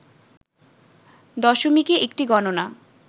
দশমিকে একটি গণনা